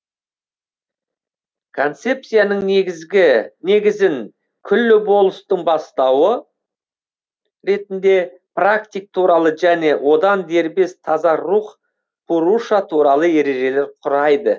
концепцияның негізін күллі болмыстың бастауы ретінде пракрит туралы және одан дербес таза рух пуруша туралы ережелер құрайды